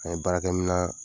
An ye baarakɛminan